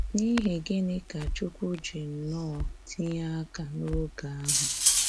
N’íhì gịnị́ ka Chúkwú jì nnọọ̀ tìnye aka n’ógè ahụ?